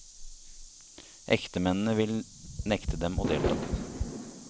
Ektemennene vil nekte dem å delta.